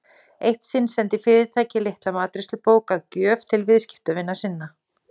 Eitt sinn sendi fyrirtæki litla matreiðslubók að gjöf til viðskiptavina sinna.